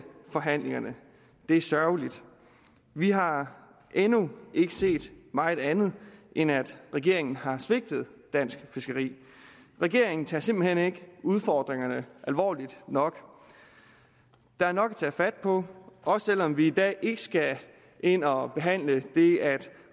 forhandlingerne det er sørgeligt vi har endnu ikke set meget andet end at regeringen har svigtet dansk fiskeri regeringen tager simpelt hen ikke udfordringerne alvorligt nok der er nok at tage fat på også selv om vi i dag ikke skal ind og behandle det at